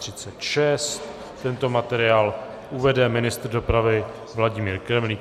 Tento materiál uvede ministr dopravy Vladimír Kremlík.